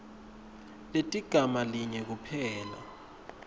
teligama linye kuphela